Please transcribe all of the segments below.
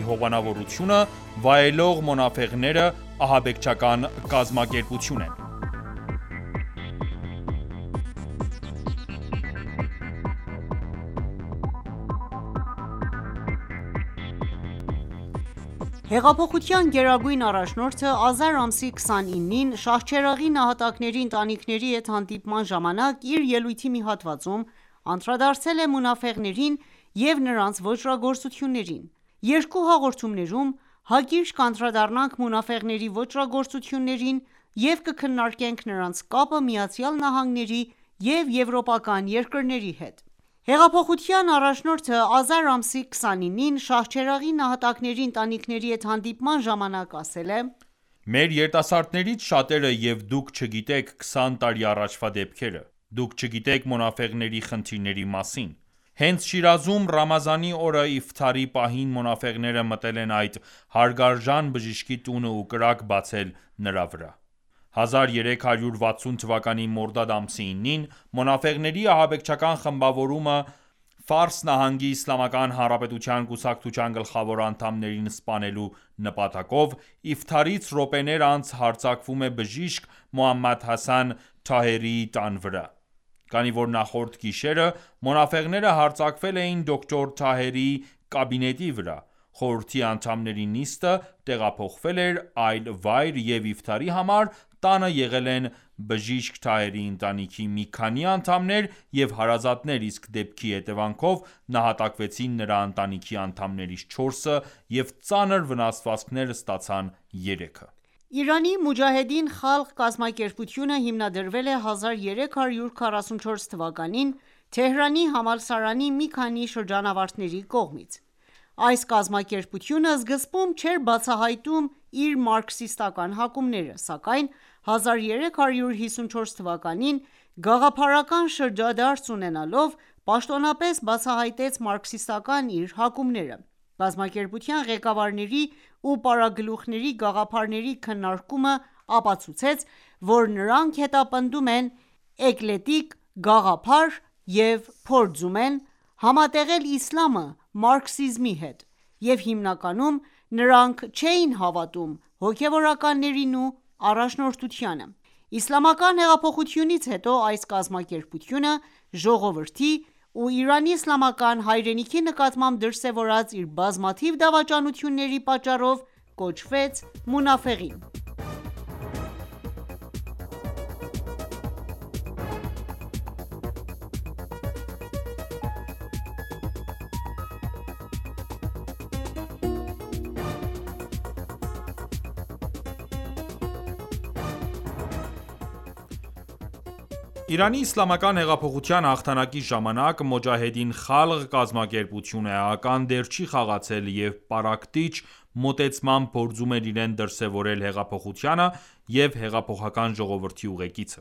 ԱՄՆ-ի հովանավորությունը վայելող մոնաֆեղները, ահաբեկչական կազմակերպություն են Հեղափոխության գերագույն առաջնորդը ազար ամսի 29-ին Շահչերաղի նահատակների ընտանիքների հետ հանդիպման ժամանակ, իր ելույթի մի հատվածում անդրադարձել է մոնաֆեղներին և նրանց ոճրագործություններին: Երկու հաղորդումներում, հակիրճ կանդրադառնանք մոնաֆեղների ոճրագործություններին, և կքննարկենք նրանց կապը ԱՄՆ-ի և եվրոպական երկրների հետ: Հեղափոխության առաջնորդը ազար ամսի 29-ին Շահչերաղի նահատակների ընտանիքների հետ հանդիպման ժամանակ ասել է.« Մեր երիտասարդներից շատերը և դուք չգիտեք քսան տարի առաջվա դեպքերը, դուք չգիտեք մոնաֆեղների խնդիրների մասին: Հենց Շիրազում, Ռամազանի օրը Իֆթարի պահին մոնաֆեղները մտել են այդ հարգարժան բժշկի տունը ու կրակ բացել վրա»։ 1360 թվականի մորդադ ամսի 9-ին մոնաֆեղների ահաբեկչական խմբավորումը ,Ֆարս նահանգի Իսլամական Հանրապետության կուսակցության գլխավոր անդամներին սպանելու նպատակով ,Իֆթարից րոպեներ անց հարձակվում է բժիշկ Մոհամմադ Հասան Թահերիի տան վրա: Քանի որ նախորդ գիշերը մոնաֆեղները հարձակվել էին դոկտոր Թահերիի կաբինետի վրա, խորհրդի անդամների նիստը տեղափոխվել էր այլ վայր և Իֆթարի համար տանը եղել են բժիշկ Թահերիի ընտանիքի մի քանի անդամներ և հարազատներ, իսկ դեպքի հետևանքով նահատակվեցին նրա ընտանիքի անդամներից չորսը ,և ծանր վնասվածքներ ստացան երեքը: Իրանի «Մոջահեդին խալղ»կազմակերպությունը հիմնադրվել է 1344 թվականին Թեհրանի համալսարանի մի քանի շրջանավարտների կողմից: Այս կազմակերպությունը սկզբում չէր բացահայտում իր մարքսիստական հակումները, սակայն 1354 թվականին գաղափարական շրջադարձ ունենալով, պաշտոնապես բացահայտեց մարքսիստական իր հակումները: Կազմակերպության ղեկավարների ու պարագլուխների գաղափարների քննարկումը ապցուցեց ,որ նրանք հետապնդում են էկլեկտիկ գաղափար և փորձում են համատեղել իսլամը մարքսիզմի հետ և հիմնականում նրանք չէին հավատում հոգեւորականներին ու առաջնորդությանը: Իսլամական հեղափոխությունից հետո այս կազմակերպությունը ժողովրդի ու Իրանի իսլամական հայրենիքի նկատմամբ դրսևորած իր բազմաթիվ դավաճանությունների պատճառով կոչվեց «մոնաֆեղին»: Իրանի Իսլամական հեղափոխության հաղթանակի ժամանակ «Մոջահեդին խալղ» կազմակերպությունը էական դեր չի խաղացել եւ պառակտիչ մոտեցմամբ փորձում էր իրեն դրսեւորել հեղափոխությանը և հեղափոխական ժողովրդի ուղեկիցը: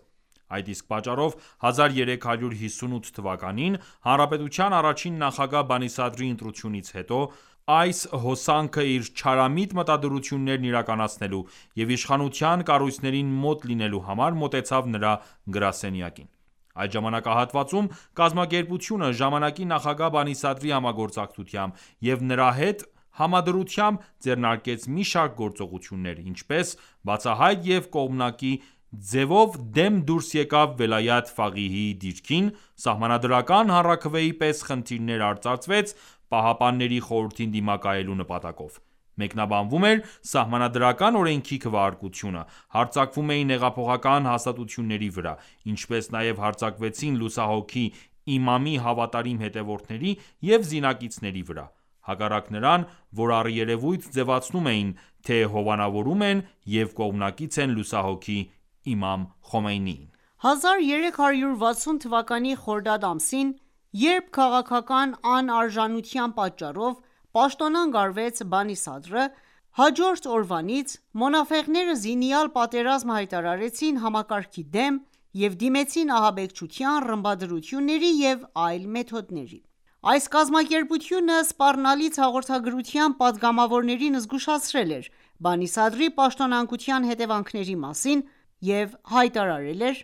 Այդ իսկ պատճառով, 1358 թվականին, հանրապետության առաջին նախագահ ԲանիՍադրի ընտրությունից հետո ,այս հոսանքը իր չարամիտ մտադրություններն իրականացնելու և իշխանության կառույցներին մոտ լինելու համար մոտեցավ նրա գրասենյակին։ Այդ ժամանակահատվածում կազմակերպությունը, ժամանակի նախագահ Բանի Սադրի համագործակցությամբ և նրա հետ համադրությամբ, ձեռնարկեց մի շարք գործողություններ, ինչպես՝բացահայտ և կողմնակաի ձևով դեմ դուրս եկավ «Վելայաթ Ֆաղիիհ»-ի դիրքին, սահմանադրական հանրաքվեի պես խնդիրներ արծարծվեց, Պահապանների խորհրդին դիմակայելու նպատակով ՝մեկնաբանվում էր սահմանադրական օրենքի քվեարկությունը, հարձակվում էին հեղափոխական հաստատությունների վրա, ինչպես նաև հարձակվեցին լուսահոգի իմամի հավատարիմ հետևորդների և զինակիցների վրա, հակառակ նրան ,որ առերևույթ ձևացնում էին թե՝ հովանավորում են և կողմնակից են լուսահոգի իմամ Խոմեյնիին: 1360 թվականի խորդադ ամսին ,երբ քաղաքական անարժանության պատճառով ,պաշտոնանկ արվեց Բանի Սադրը, հաջորդ օրվանից «մոնաֆեղները» զինյալ պատերազմ հայտարարեցին համակարգի դեմ և դիմեցին ահաբեկչության, ռմբադրությունների և այլ մեթոդների։ Այս կազմակերպությունը սպառնալից հաղորդագրությամբ պատգամավորներին զգուշացրել էր Բանի Սադրի պաշտոնանկության հետեւանքների մասին և հայտարարել էր.«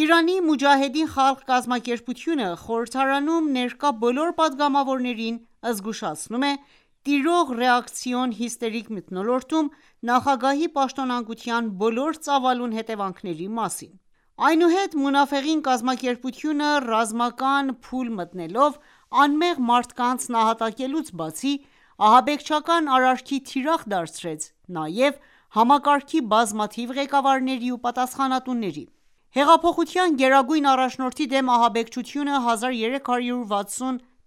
Իրանի մոջահեդին խալղ կազմակերպությունը խորհրդարանում ներկա բոլոր պատգամավորներին զգուշացնում է տիրող ռեակցիոն հիստերիկ մթնոլորտում նախագահի պաշտոնանկության բոլոր ծավալուն հետեւանքների մասին...»: Այնուհետ մոնաֆեղին կազմակերպությունը ռազմական փուլ մտնելով, անմեղ մարդկանց նահատակելուց բացի, ահաբեկչական արարքի թիրախ դարձրեց նաև համակարգի բազմաթիվ ղեկավարների ու պատասխանատուների: Հեղափոխության գերագույն առաջնորդի դեմ ահաբեկչությունը 1360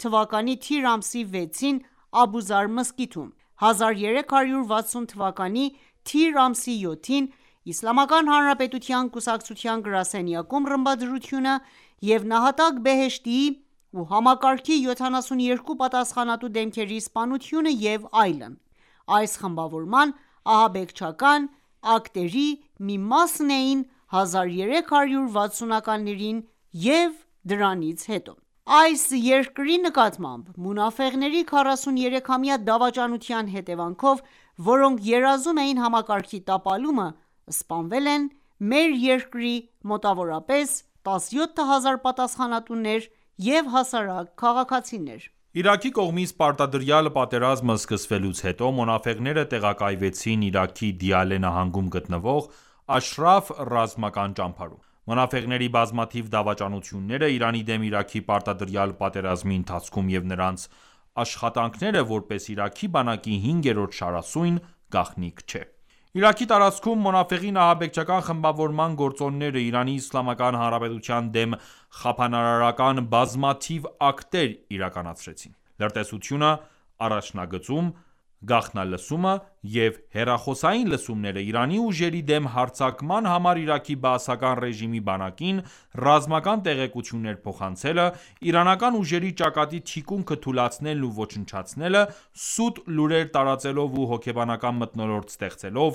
թվականի թիր ամսի 6-ին Աբուզար մզկիթում,1360 թվականի թիր ամսի 7-ին Իսլամական Հանրապետության կուսակցության գրասենյակում ռմբադրությունը և նահատակ Բեհեշտիի ու համակարգի 72 պատասխանատու դեմքերի սպանությունը և այլն ,այս խմբավորման ահանբեկչական ակտերի մի մասն էին 1360 ականներին և դրանից հետո: Այս երկրի նկատմամբ մոնաֆեղների 43-ամյա դավաճանության հետևանքով ,որոնք երազում էին համակարգի տապալումը ,սպանվել են մեր երկրի մոտավորապես 17հազար պատասխանատուներ և հասարակ քաղաքացիներ: Իրաքի կողմից պարտադրյալ պատերազմը սկսվելուց հետո մոնաֆեղները տեղակայվեցին Իրաքի Դիալե նահանգում գտնվող ռազմական ճամբարում։ Մոնաֆեղների բազմաթիվ դավաճանությունները, Իրանի դեմ Իրաքի պարտադրյալ պատերազմի ընթացքում և նրանց աշխատանքները, որպես Իրաքի բանակի հինգերորդ շարասյուն գաղտնիք չէ: Իրաքի տարածքում մոնաֆեղին ահաբեկչական խմբավորման գործոնները ,Իրանի Իսլամական հանրապետության դեմ խափանարարական բազմաթիվ ակտեր իրականացրին: Լրտեսությունը առաջնագծում, գաղտնալսումը և հեռախոսային լսումները, Իրանի ուժերի դեմ հարձակման համար Իրաքի բասական ռեժիմի բանակին ,ռազմական տեղեկություններ փոխանցելը, Իրանական ուժերի ճակատի թիկունքը թուլացնելն ու ոչնչացնելը՝ սուտ լուրեր տարածելով ու հոգեբանական մթնոլորտ ստեղծելով,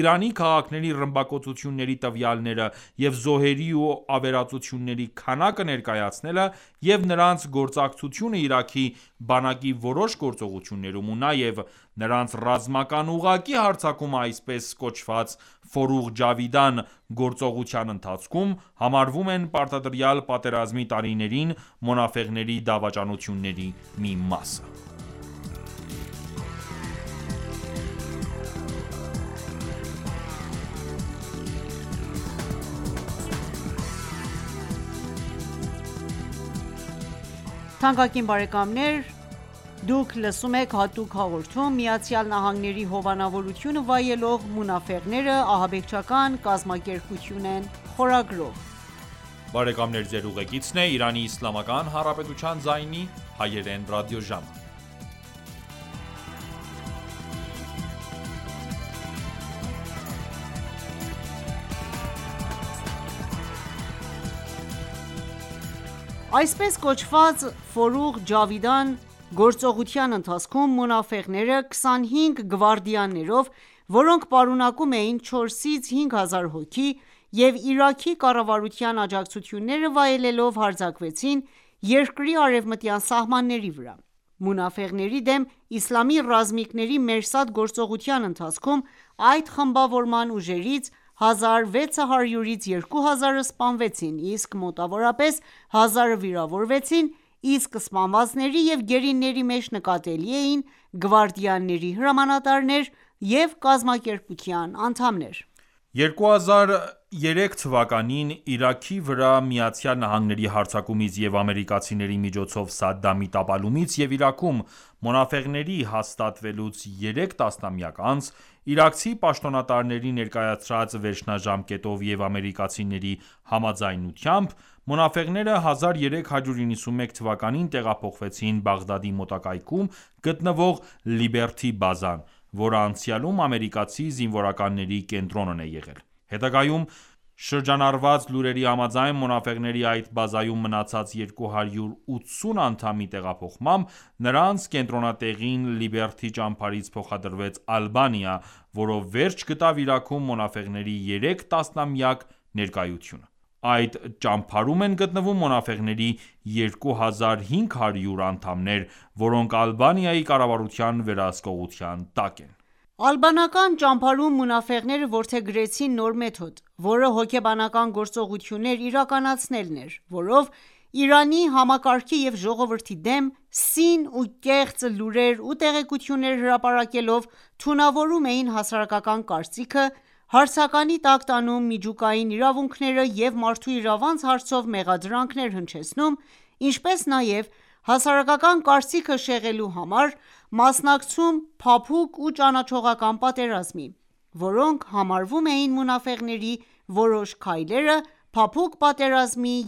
Իրանի քաղաքների ռմբակոծությունների տվյալները և զոհերի ու ավերածությունների քանակը ներկայացնելը, և նրանց գործակցությունը Իրաքի բանակի որոշ գործողություններում ,ու նաև նրանց ռազմական ուղղակի հարձակումը այսպես կոչված «Ֆորուղ Ջավիդան» գործողության ընթացքում ,համարվում են պարտադրյալ պատերազմի տարիներին մոնաֆեղների դավաճանությունների մի մասը: Այսպես կոչված «Ֆորուղ Ջավիդան» գործողության ընթացքում ,մոնաֆեղները 25 գվարդիաներով ,որոնք պարունակում էին 4-ից 5 հազար հոգի, և Իրաքի կառավարության աջակցությունները վայելելով ,հարձակվեցին երկրի արևմտյան սահմանների վրա: Մոնաֆեղների դեմ իսլամի ռազմիկների «Մերսադ»գործողության ընթացքում, այդ խմբավորման ուժերից 1600-ից 2000-ը սպանվեցին ,իսկ մոտավորապես 1000-ը վիրավորվեցին ,իսկ սպանվածների և գերիների մեջ նկատելի էին գվարդիաների հրամանատարներ և կազմակերպության անդամներ: 2003 թվականին ,Իրաքի վրա ԱՄՆ-ի հարձակումից և ամերիկացիների միջոցով Սադդամի տապալումից և Իրաքում ,մոնաֆեղների հաստատվելուց երեք տասնամյակ անց ,իրաքցի պաշտոնատարների ներկայացրած վերջնաժամկետով և ամերիկացիների համաձայնությամբ ,մոնաֆեղները 1391 թվականին տեղափոխվեցին Բաղդադի մոտակայքում գտնվող Լիբերթի բազան ,որը անցյալում ամերիկացի զինվորականների կենտրոնն է եղել: Հետագայում շրջանառված լուրերի համաձայն ,մոնաֆեղների այդ բազայում մնացած 280 անդամի տեղափոխմամբ ,նրանց կենտրոնատեղին Լիբերթի ճամբարից փոխադրվեց Ալբանիա, որով վերջ գտավ Իրաքում մոնաֆեղների երեք տասնամյակ ներկայությունը: Այդ ճամբարում են գտնվում մոնաֆեղների 2500 անդամներ ,որոնք Ալբանիայի կառավարության վերահսկողության տակ են: Ալբանական ճամբարում մոնաֆեղները որդեգրեցին նոր մեթոդ, որը հոգեբանական գործողություններ իրականացնելն էր, որով Իրանի համակարգի և ժողովրդի դեմ սին ու կեղծ լուրեր ու տեղեկություններ հրապարակելով թունավորում էին հասարակական կարծիքը, հարցականի տակ տանում միջուկային իրավունքները և մարդու իրավանց հարցով մեղադրանքներ հնչեցնում, ինչպես նաև հասարակական կարծիքը շեղելու համար մասնակցում փափուկ ու ճանաչողական պատերազմի ,որոնք համարվում էին մոնաֆեղների որոշ քայլերը փափուկ պատերազմի